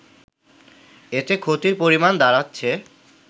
এতে ক্ষতির পরিমাণ দাড়াচ্ছে